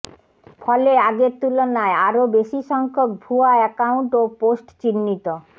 ফলে আগের তুলনায় আরও বেশিসংখ্যক ভুয়া অ্যাকাউন্ট ও পোস্ট চিহ্নিত